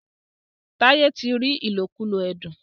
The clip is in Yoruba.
Taiye tí rí ilokulo ẹdun.